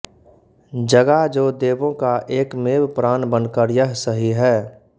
जगा जो देवों का एकमेव प्राण बनकर यह सही है